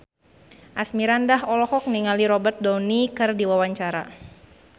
Asmirandah olohok ningali Robert Downey keur diwawancara